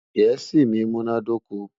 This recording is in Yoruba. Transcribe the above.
gèésì mí múná dóko